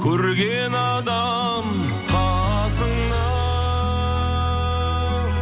көрген адам қасыңнан